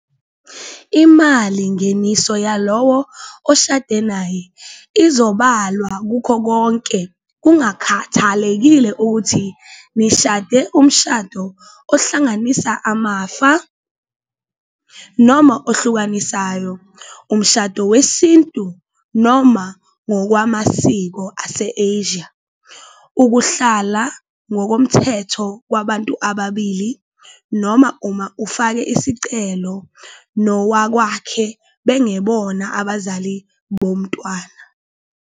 Imalingeniso yalowo oshade naye izobalwa kukho konke kungakhathalekile ukuthi nishade umshado ohlanganisa amafa noma ohlukanisayo, umshado wesintu noma ngokwamasiko ase-Asia, ukuhlala ngokomthetho kwabantu ababili noma uma ofake isicelo nowakwakhe bengebona abazali bomntwana.